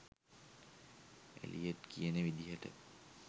Elliot කියන විදිහට